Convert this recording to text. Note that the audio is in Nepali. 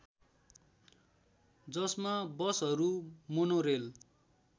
जसमा बसहरू मोनोरेल